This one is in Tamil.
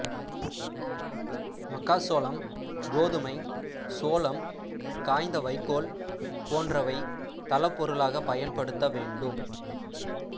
மக்காச்சோளம் கோதுமை சோளம் காய்ந்த வைக்கோல் போன்றவை தளப் பொருளாக பயன்படுத்த வேண்டும்